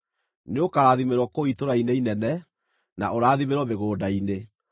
Nĩũkarathimĩrwo kũu itũũra-inĩ inene, na ũrathimĩrwo mĩgũnda-inĩ.